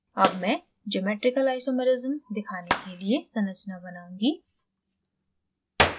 अब मैं geometrical isomerism दिखाने के लिए संरचनाएं बनाऊँगी